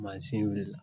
Mansin wulila